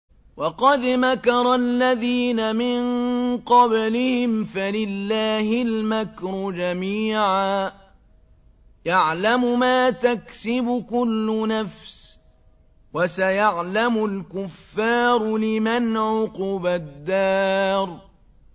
وَقَدْ مَكَرَ الَّذِينَ مِن قَبْلِهِمْ فَلِلَّهِ الْمَكْرُ جَمِيعًا ۖ يَعْلَمُ مَا تَكْسِبُ كُلُّ نَفْسٍ ۗ وَسَيَعْلَمُ الْكُفَّارُ لِمَنْ عُقْبَى الدَّارِ